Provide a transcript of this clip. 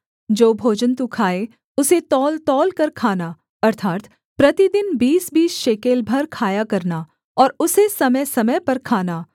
जो भोजन तू खाए उसे तौलतौलकर खाना अर्थात् प्रतिदिन बीसबीस शेकेल भर खाया करना और उसे समयसमय पर खाना